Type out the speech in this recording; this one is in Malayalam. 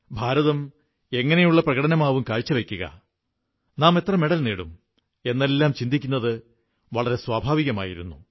ഭാരതം എങ്ങനെയുള്ള പ്രകടനമാകും കാഴ്ചവയ്ക്കുക നാം എത്ര മെഡൽ നേടും എന്നെല്ലാം ചിന്തിക്കുന്നത് വളരെ സ്വാഭാവികമായിരുന്നു